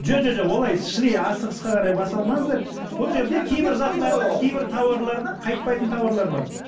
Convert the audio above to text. жоқ олай шіли асығысқа қарай бас алмаңыздар бұл жерде кейбір заттардың кейбір тауарлардың қайтпайтын тауарлар бар